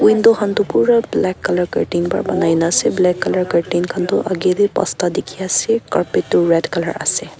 Window khan tuh pura black colour curtain pra banaina ase black colour curtain khan tuh agae dae pansta dekhe ase carpet tuh red colour ase.